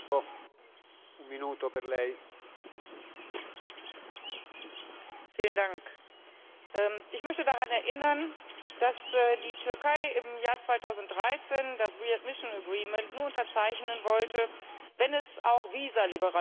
Herr Präsident! Ich möchte daran erinnern, dass die Türkei im Jahr 2013 das nur unterzeichnen wollte, wenn es auch Visaliberalisierung für sie gibt, und zwar für Wissenschaftler, Studenten und Geschäftsleute.